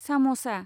सामसा